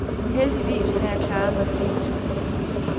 Heldigvis har jeg klaret mig fint.